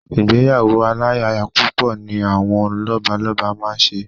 Ìgbéyàwó aláyapúpọ̀ ni àwọn Lọ́balọ́ba máa ń ṣe